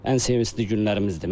Ən sevincli günlərimizdir.